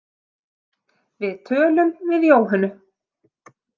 Við tölum við Jóhönnu.